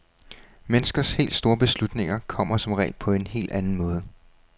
Menneskers helt store beslutninger kommer som regel på en helt anden måde.